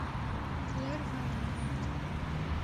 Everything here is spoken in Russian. клэр вайнленд